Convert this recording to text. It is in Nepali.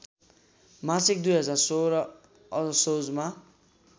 मासिक २०१६ असोजमा